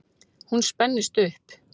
Hún spennist upp.